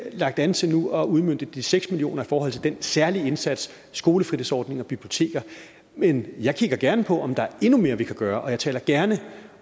lagt an til nu at udmønte de seks million kroner i forhold til den særlige indsats i skolefritidsordninger og biblioteker men jeg kigger gerne på om der er endnu mere vi kan gøre og jeg taler gerne